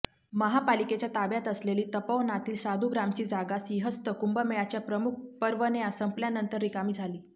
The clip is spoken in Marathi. महापालिकेच्या ताब्यात असलेली तपोवनातील साधुग्रामची जागा सिंहस्थ कुंभमेळ्याच्या प्रमुख पर्वण्या संपल्यानंतर रिकामी झाली